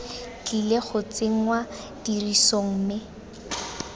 tlile go tsenngwa tirisong mme